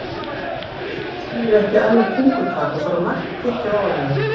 Þetta hyski skilur ekki ærlegt tungutak og þarf að margtyggja ofan í það.